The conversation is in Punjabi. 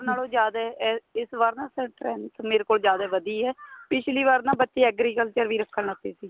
ਨਾਲੋ ਜਿਆਦਾ ਇਸ ਵਾਰ ਨਾ strength ਮੇਰੇ ਕੋਲ ਜਿਆਦਾ ਵੱਧੀ ਏ ਪਿੱਛਲੀ ਵਾਰ ਨਾ ਬੱਚੇ agriculture ਵੀ ਰੱਖਣ ਲੱਗ ਗਏ ਸੀ